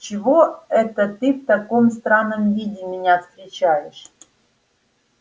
чего это ты в таком странном виде меня встречаешь